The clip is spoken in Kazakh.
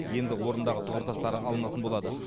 енді орнындағы тұғыртастары алынатын болады